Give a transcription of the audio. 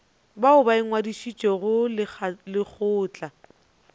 bao ba ingwadišitšego le lekgotla